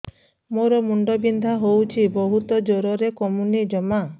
ମୋର ମୁଣ୍ଡ ବିନ୍ଧା ହଉଛି ବହୁତ ଜୋରରେ କମୁନି ଜମା